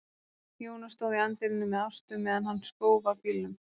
Jóna stóð í anddyrinu með Ástu meðan hann skóf af bílnum.